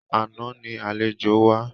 Àná ni àlejò wá.